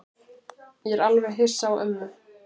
Ég er alveg hissa á ömmu.